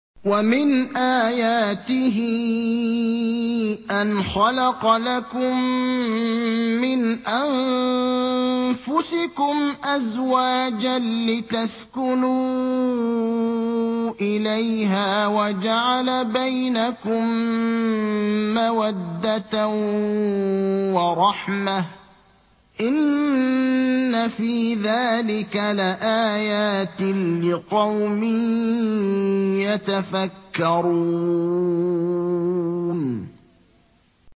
وَمِنْ آيَاتِهِ أَنْ خَلَقَ لَكُم مِّنْ أَنفُسِكُمْ أَزْوَاجًا لِّتَسْكُنُوا إِلَيْهَا وَجَعَلَ بَيْنَكُم مَّوَدَّةً وَرَحْمَةً ۚ إِنَّ فِي ذَٰلِكَ لَآيَاتٍ لِّقَوْمٍ يَتَفَكَّرُونَ